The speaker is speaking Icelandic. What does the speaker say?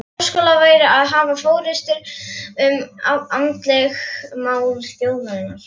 Háskóla væri að hafa forystu um andleg mál þjóðarinnar.